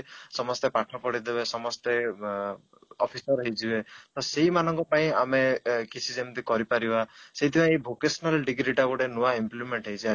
ସମସ୍ତେ ପାଠ ପଢ଼ିଦେବେ ସମସ୍ତେ ଅଂ office ପାଇଁ ready ହେଇଯିବେ ତ ସେଇମାନଙ୍କ ପାଇଁ ଆମେ କିଛି ଯେମିତି କରିପାରିବା ସେଥିପାଇଁ vocational degree ଟା ଗୋଟେ ନୂଆ implement ହେଇଛି